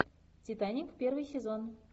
титаник первый сезон